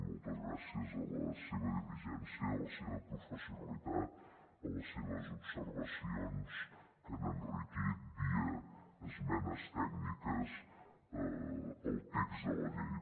moltes gràcies a la seva diligència i a la seva professionalitat a les seves observacions que han enriquit via esmenes tècniques el text de la llei